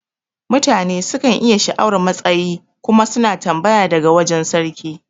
Mutane sukan iya sha'awar matsayi kuma suna tambaya daga wajan sarki